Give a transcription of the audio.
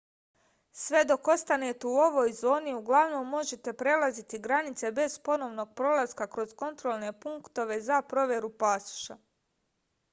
sve dok ostanete u ovoj zoni uglavnom možete prelaziti granice bez ponovnog prolaska kroz kontrolne punktove za proveru pasoša